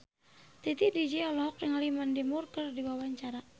Titi DJ olohok ningali Mandy Moore keur diwawancara